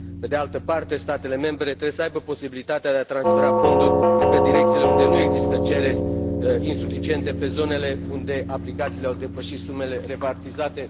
Pe de altă parte, statele membre trebuie să aibă posibilitatea de a transfera fonduri de la direcțiile unde nu există cereri suficiente, în zonele unde aplicațiile au depășit sumele repartizate.